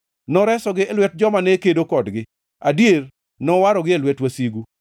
Noresogi e lwet joma ne kedo kodgi, adier, nowarogi e lwet wasigu.